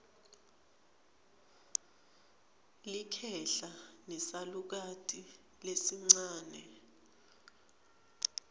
likhehla nesalukati lesincane